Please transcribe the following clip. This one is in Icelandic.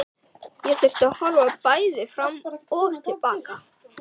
Ég þurfti að horfa bæði fram og til baka.